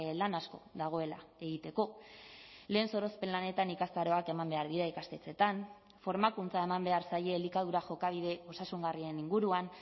lan asko dagoela egiteko lehen sorospen lanetan ikastaroak eman behar dira ikastetxeetan formakuntza eman behar zaie elikadura jokabide osasungarrien inguruan